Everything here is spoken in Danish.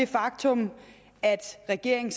faktum er at regeringen